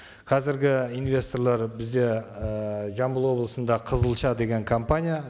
қазіргі инвесторлар бізде ііі жамбыл облысында қызылша деген компания